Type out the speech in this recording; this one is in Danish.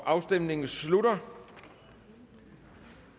afstemningen slutter